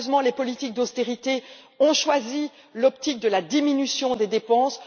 Malheureusement, les politiques d'austérité ont choisi l'optique de la diminution des dépenses.